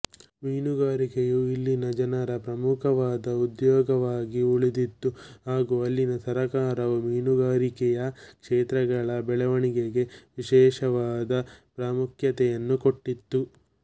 ಮೀನುಗಾರಿಕೆಯು ಇಲ್ಲಿನ ಜನರ ಪ್ರಮುಖವಾದ ಉದ್ಯೋಗವಾಗಿ ಉಳಿದಿತ್ತು ಹಾಗೂ ಅಲ್ಲಿನ ಸರ್ಕಾರವು ಮೀನುಗಾರಿಕೆಯ ಕ್ಷೇತ್ರಗಳ ಬೆಳವಣಿಗೆಗೆ ವಿಶೇಷವಾದ ಪ್ರಾಮುಖ್ಯತೆಯನ್ನು ಕೊಟ್ಟಿತ್ತು